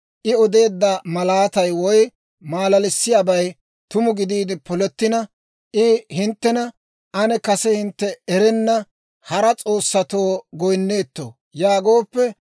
I odeedda malaatay woy maalalissiyaabay tumu gidiide polettina, I hinttena, ‹Ane kase hintte erenna hara s'oossatoo goyinnoytte› yaagooppe,